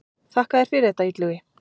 Þakka þér fyrir þetta Illugi.